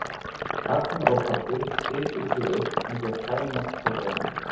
Agnar og pabbi hituðu sig upp með því að klæmast hvor við annan.